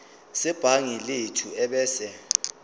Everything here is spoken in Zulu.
sebhangi lethu ebese